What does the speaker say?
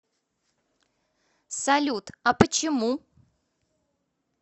салют а почему